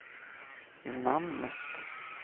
namnet